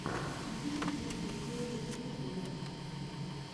набери первую серию ридддла